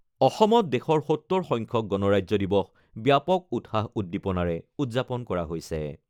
অসমত দেশৰ ৭০ সংখ্যক গণৰাজ্য দিৱস ব্যাপক উৎসাহ উদ্দীপনাৰে উদযাপন কৰা হৈছে।